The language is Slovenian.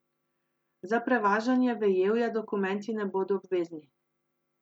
Za prevažanje vejevja dokumenti ne bodo obvezni.